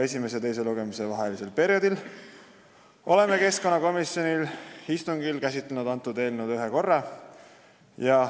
Esimese ja teise lugemise vahelisel perioodil oleme eelnõu ühe korra käsitlenud keskkonnakomisjoni istungil.